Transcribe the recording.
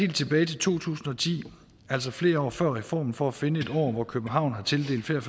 tilbage til to tusind og ti altså flere år før reformen for at finde et år hvor københavn har tildelt flere